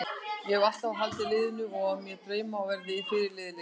Ég hef alltaf haldið með liðinu og á mér drauma um að verða fyrirliði liðsins.